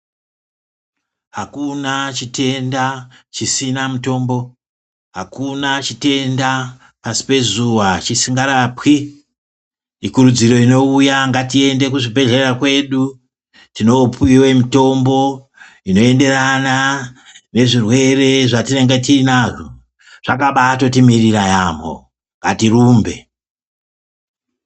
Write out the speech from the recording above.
Akuna chitenda chisina mutombo, akuna chitenda pasi pezuva chisinga rapwi, ikurudziro inouya ngatiende kuzvibhedhlera kwedu tinopiwa mitombo inoendera nezvirwere zvatinenge tiinazvo zvakabaatotimirira yaamho ngatirumbe.